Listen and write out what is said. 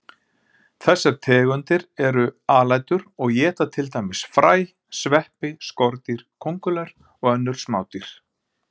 Þessar tegundir eru alætur og éta til dæmis fræ, sveppi, skordýr, kóngulær og önnur smádýr.